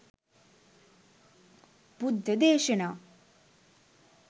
බුද්ධ දේශනා